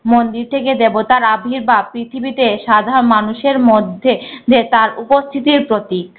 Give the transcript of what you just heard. মন্দির থেকে দেবতারা বা পৃথিবীতে সাধারণ মানুষের মধ্যে যে তার উপস্থিতির প্রতীক।